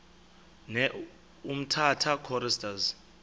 ne umtata choristers